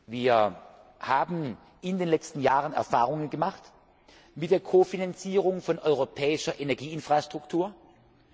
Wir haben in den letzen Jahren Erfahrungen mit der Ko Finanzierung von europäischer Energieinfrastruktur gemacht.